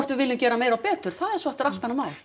við viljum gera meira og betur það er svo aftur allt annað mál